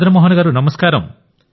ప్రధానమంత్రి గారు మదన్ మోహన్ గారూ